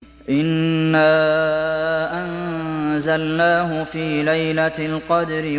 إِنَّا أَنزَلْنَاهُ فِي لَيْلَةِ الْقَدْرِ